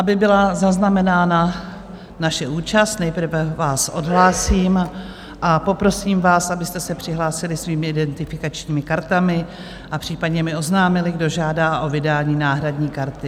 Aby byla zaznamenána naše účast, nejprve vás odhlásím a poprosím vás, abyste se přihlásili svými identifikačními kartami a případně mi oznámili, kdo žádá o vydání náhradní karty.